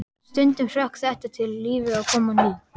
Stundum hrökk þetta til og lífið kom á ný.